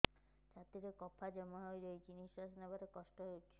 ଛାତିରେ କଫ ଜମା ହୋଇଛି ନିଶ୍ୱାସ ନେବାରେ କଷ୍ଟ ହେଉଛି